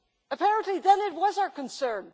Apparently, then, it was our concern.